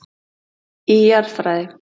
Í Jarðfræði.